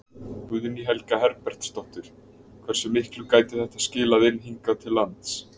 Guðný Helga Herbertsdóttir: Hversu miklu gæti þetta skilað inn hingað til lands?